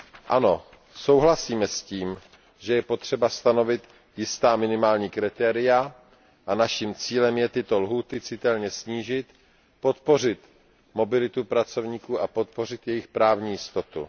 Ano, souhlasíme s tím, že je potřeba stanovit jistá minimální kritéria a naším cílem je tyto lhůty citelně snížit, podpořit mobilitu pracovníků a podpořit jejich právní jistotu.